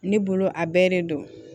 Ne bolo a bɛɛ de don